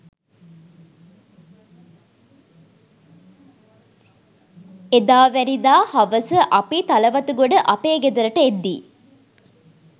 එදාවැනිදා හවස අපි තලවතුගොඩ අපේ ගෙදරට එද්දී